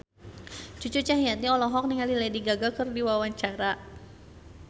Cucu Cahyati olohok ningali Lady Gaga keur diwawancara